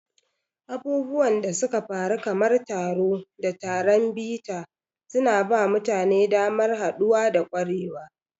Abubuwan da suka faru kamar taro da taron bita suna ba mutane damar haɗuwa da ƙwarewa.